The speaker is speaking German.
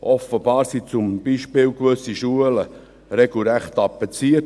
Offenbar wurden zum Beispiel gewisse Schulen mit Demoaufrufen regelrecht tapeziert.